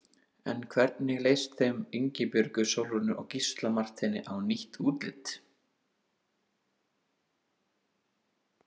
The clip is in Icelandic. En hvernig leist þeim Ingibjörgu Sólrúnu og Gísla Marteini á nýtt útlit?